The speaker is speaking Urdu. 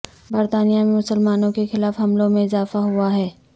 برطانیہ میں مسلمانوں کے خلاف حملوں میں اضافہ ہوا ہے